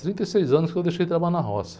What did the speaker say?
trinta e seis anos que eu deixei de trabalhar na roça.